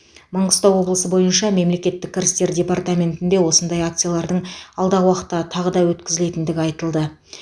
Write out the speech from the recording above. маңғыстау облысы бойынша мемлекеттік кірістер департаментінде осындай акциялардың алдағы уақытта тағы да өткізілетіндігі айтылды